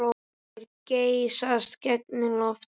Þeir geysast gegnum loftið.